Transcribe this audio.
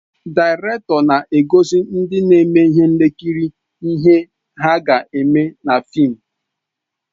Daịrektọ na-egosi ndị na-eme ihe nkiri ihe ha ga-eme na fịịm.